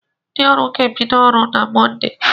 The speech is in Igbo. Ndị ọrụ ga-ebido ọrụ na Mọnde.